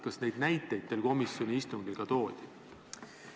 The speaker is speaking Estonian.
Kas selliseid näiteid komisjoni istungil ka toodi?